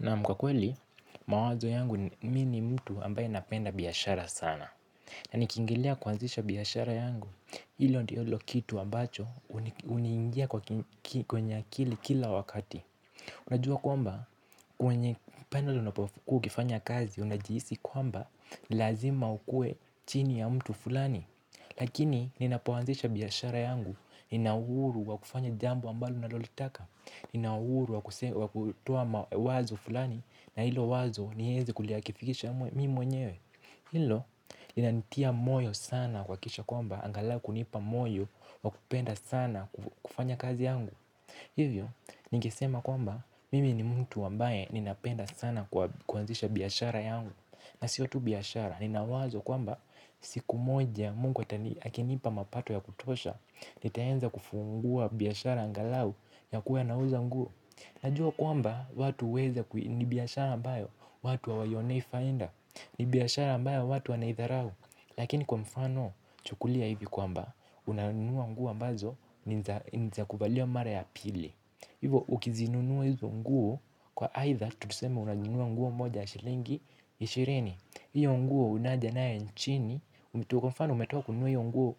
Naam kwakweli, mawazo yangu mimini mtu ambaye napenda biashara sana. Na nikiingilia kuanzisha biashara yangu, hilo ndilo kitu ambacho huniingia kwenye akili kila wakati. Unajua kwamba, kwenye pale unapokuwaukifanya kazi, unajihisi kwamba, lazima ukue chini ya mtu fulani. Lakini, ninapoazisha biashara yangu, ninauhuru wa kufanya jambo ambalo nalolitaka. Ninauhuruwa kutoa wazo fulani na hilo wazo niwezi kulia kifikisha mimi mwenyewe. Hilo, linanitia moyo sana kuhaki kisha kwamba angalau kunipa moyo wa kupenda sana kufanya kazi yangu. Hivyo, ningesema kwamba mimi ni mtu ambaye ninapenda sana kuanzisha biashara yangu. Na siotu biashara, ninawazo kwamba siku moja mungu akinipa mapato ya kutosha nitaweza kufungua biashara angalau ya kuwa na uza nguo. Najua kwamba watu huweza ni biashara ambayo watu ha waiyonei faida. Ni biashara ambayo watu anaidharau. Lakini kwa mfano chukulia hivi kwamba unanunua nguo ambazo ni zakuvaliwa mara ya pili. Hivyo ukizinunua hizo nguo kwa aidha tuseme unanunua nguo moja shilingi ishirini. Hiyo nguo unajanayo nchini, umetoka kununuahiyo nguo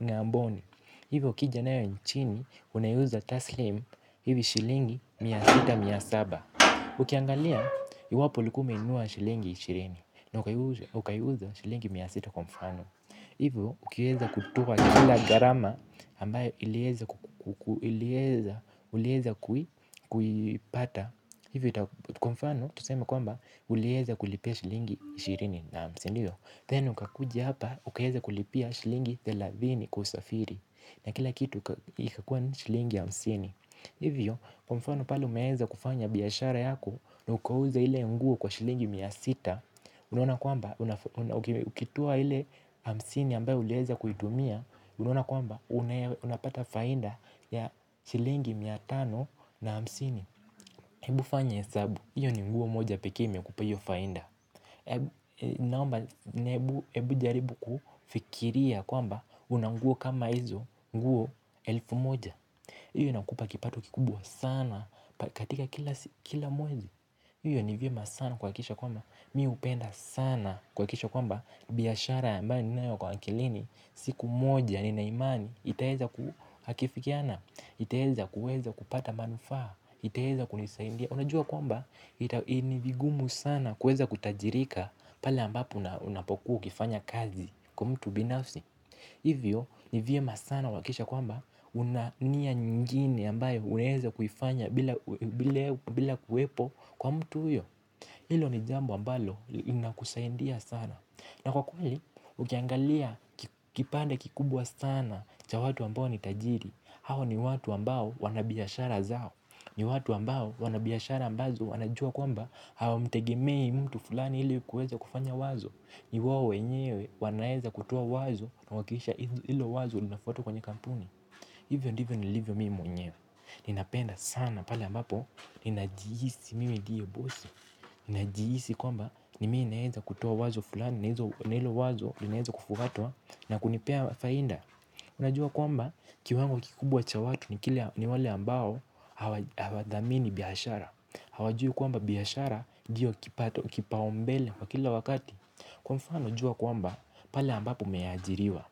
ungamboni. Hivyo ukijanayo nchini, unaiuza taslim, hivi shilingi miasita miasaba. Ukiangalia, iwapo ulikuaume inunua shilingi ishirini na ukaiuza shilingi miasita kwamfano. Hivyo, ukiweza kutoa kila gharama ambayo uliweza kuiipata. Hivyo kwamfano tuseme kwamba uliweza kulipia shilingi ishirini naa msindi o Then ukakuja hapa ukaweza kulipia shilingi thelathini na mbili kusafiri. Na kila kitu ikakua shilingi ha msini. Hivyo kwamfano pale umeweza kufanya biashara yako na ukauza ile nguo kwa shilingi mia sita. Unaona kwamba ukitoa ile hamsini ambayo uliweza kuitumia. Unaona kwamba unapata faida ya shilingi mia tano na hamsini. Ebu fanya hesabu, hiyo ni mguo moja pekeeime kupeahiyo faida. Naomba ni ebu jaribu kufikiria kwamba unanguo kama hizo nguo elfu moja hiyo inakupa kipato kikubwa sana katika kila mwezi hiyo ni vyema sana kuha kikisha kwamba mimi hupenda sana kuha kisha kwamba biashara a mbayo ni nayo kwa akilini siku moja ni naimani itaweza kuhakifikiana, itaweza kuweza kupata manufaa itaweza kunisaidia. Unajua kwamba ita nivingumu sana kuweza kutajirika. Pale ambapo unapokuwa ukifanya kazi kwa mtu binafsi. Hivyo nivyema sana kuhakikisha kwamba unania nyingine ambayo unaweza kuifanya bila kuwepo kwa mtu huyo. Hilo ni jambo ambalo linakusaidia sana. Na kwa kweli ukiangalia kipande kikubwa sana cha watu ambao nitajiri. Hao ni watu ambao wanabiashara zao. Ni watu ambao wanabiashara ambazo wanajua kwamba hawa mtegemei mtu fulani ili kuweza kufanya wazo. Ni wawo wenyewe wanaweza kutoa wazo na kuhakikisha hilo wazo lina fuatwa kwenye kampuni. Hivyo ndivyo ni livyo mimi mwenyewe. Ninapenda sana pale ambapo ninajihisi mimi ndiyo bosi ninajihisi kwamba ni mimi naweza kutoa wazo fulani na hilo wazo linaweza kufuatwa na kunipea faida. Unajua kwamba kiwango kikubwa cha watu ni wale ambao hawadhamini biashara. Hawajui kwamba biashara ndiyo kipaumbele kwa kila wakati. Kwa mfano jua kwamba pale ambapo umeajiriwa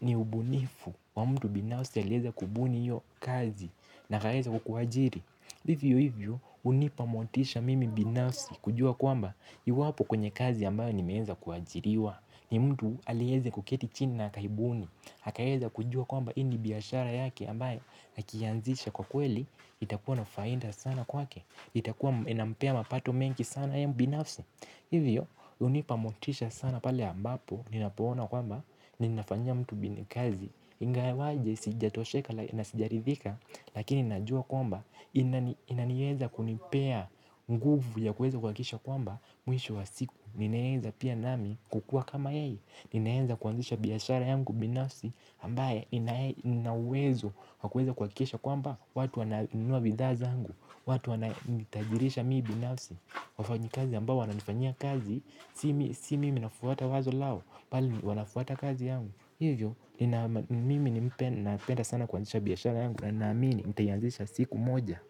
ni ubunifu wa mtu binafsi aliweza kubuni hiyo kazi na akaweza kukuajiri hivyo hivyo hunipamotisha mimi binafsi kujua kwamba iwapo kwenye kazi ambayo ni meweza kuajiriwa ni mtu aliweze kuketi chini na akaibuni akaweza kujua kwamba hiini biashara yake ambaye akiianzisha kwa kweli, itakuwa nafaida sana kwake itakuwa inampea mapato mengi sana yeye binafsi. Hivyo, hunipamotisha sana pale ambapo ninapoona kwamba, ninafanyia mtu binikazi. Ingawaje, sijatosheka na sijarithika. Lakini najua kwamba, inaniweza kunipea nguvu ya kuweza kuhaki kisha kwamba mwisho wa siku, ninaweza pia nami kukua kama yeye. Ninaweza kuanzisha biashara yangu binafsi ambaye inauwezo wakuweza kuhaki kisha kwa mba watu wananunua bidhaaza angu. Watu wanitajirisha mimi binafsi wafanyi kazi ambao wanifanyia kazi si mimi nafuata wazo lao bali wanafuata kazi yangu. Hivyo mimi napenda sana kuanzisha biashara yangu na amini mtaianzisha siku moja.